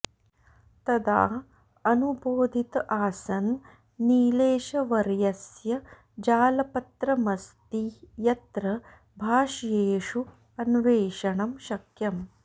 तदा अनुबोधित आसं नीलेशवर्यस्य जालपत्रमस्ति यत्र भाष्येषु अन्वेषणं शक्यम्